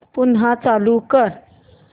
पुन्हा चालू कर